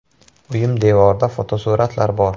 Uyim devorida fotosuratlar bor.